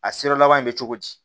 A sira laban in bɛ cogo di